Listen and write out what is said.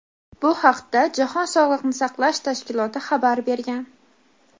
Bu haqda Jahon sog‘liqni saqlash tashkiloti xabar bergan.